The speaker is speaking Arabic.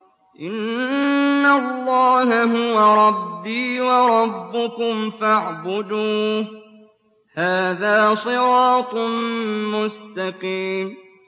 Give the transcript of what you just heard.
إِنَّ اللَّهَ هُوَ رَبِّي وَرَبُّكُمْ فَاعْبُدُوهُ ۚ هَٰذَا صِرَاطٌ مُّسْتَقِيمٌ